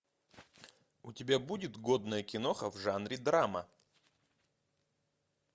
у тебя будет годная киноха в жанре драма